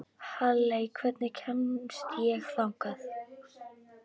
Halley, hvernig kemst ég þangað?